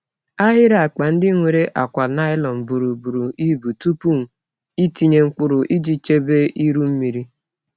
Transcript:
Ahịrị akpa ndị nwere akwa nylon buru buru ibu tupu ịtinye mkpụrụ iji chebe iru mmiri.